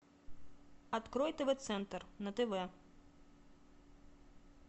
открой тв центр на тв